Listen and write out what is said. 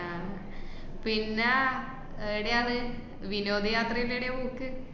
പിന്നെ ഏടെയാണ് വിനോദ യാത്ര ഏടേണ് പോക്ക്?